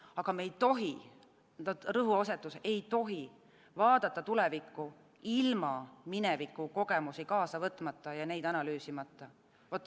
Aga me ei tohi, rõhuasetus ei tohi vaadata tulevikku ilma mineviku kogemusi kaasa võtmata ja neid analüüsimata.